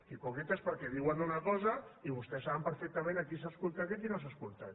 hipòcrites perquè diuen una cosa i vostès saben perfectament a qui s’ha escoltat i a qui no s’ha escoltat